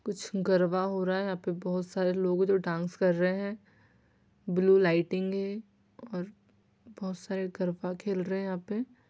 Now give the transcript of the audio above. कुछ गरबा हो रहा है यहाँ पे बहुत सारे लोग है जो डाँस कर रहे है ब्लू लायटिंग है और बहुत सारे गरबा खेल रहे यहाँ पे--